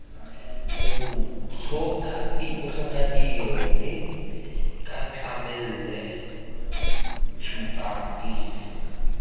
botlhokatiro mme ca tlamele tshupatefo